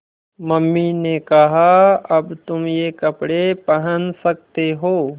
mummy ने कहा अब तुम ये कपड़े पहन सकते हो